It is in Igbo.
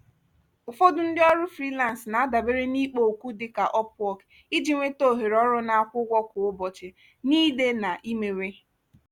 ụfọdụ ndị ọrụ frilansị na-adabere n'ikpo okwu dị ka upwork iji nweta ohere ọrụ na-akwụ ụgwọ kwa ụbọchị na ide na imewe.